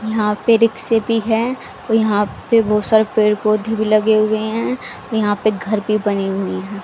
यहाँ पे रिक्से भी हैं औ यहाँ पे बहुत सारे पेड़ पौधे भी लगे हुए हैं यहाँ पे घर भी बने हुए हैं।